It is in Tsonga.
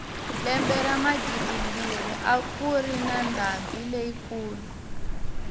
lembe ra magidimbirhi a kuri na ndhambi leyi kulu